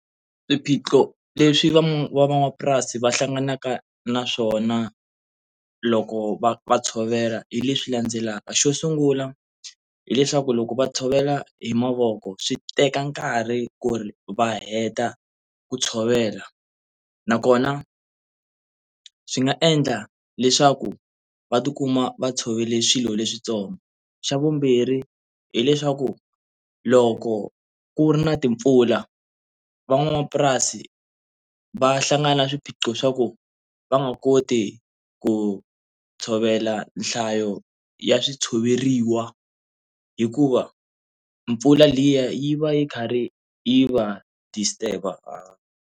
Swiphiqo leswi van'wamapurasi va hlanganaka na swona loko va va tshovela hi leswi landzelaka, xo sungula hileswaku loko va tshovela hi mavoko swi teka nkarhi ku ri va heta ku tshovela na kona swi nga endla leswaku va tikuma va tshovele swilo leswitsongo xa vumbirhi hileswaku loko ku ri na timpfula van'wamapurasi va hlangana na swiphiqo swa ku va nga koti ku tshovela nhlayo ya swi tshoveriwa hikuva mpfula liya yi va yi karhi yi va disturb-a.